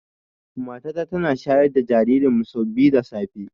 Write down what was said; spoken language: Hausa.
Mata ta tana shayar da jaririn mu sau biyu da safe